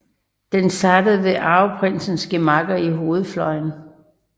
Den startede ved arveprinsens gemakker i hovedfløjen